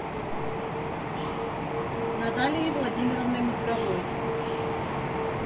наталией владимировной мозговой